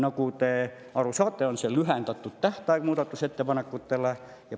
Nagu te aru saate, tegu on lühendatud tähtajaga muudatusettepanekute esitamiseks.